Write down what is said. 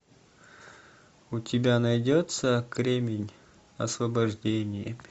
у тебя найдется кремень освобождение